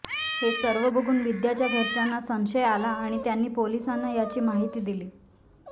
हे सर्व बघून विद्याच्या घरच्यांना संशय आला आणि त्यांनी पोलिसांना याची माहिती दिली